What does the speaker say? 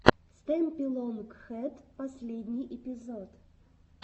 стэмпи лонг хэд последний эпизод